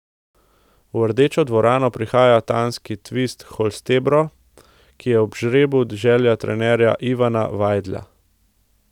V Rdečo dvorano prihaja danski Tvis Holstebro, ki je bil ob žrebu želja trenerja Ivana Vajdla.